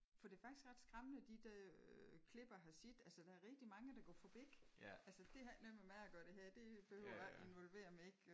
For det er faktisk ret skræmmende de der klip jeg har set altså der er rigtig mange der går forbi. Altså det har ikke noget med mig at gøre det her. Det behøver jeg ikke involvere mig i